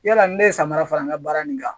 Yala ni ne ye samara fara n ka baara nin kan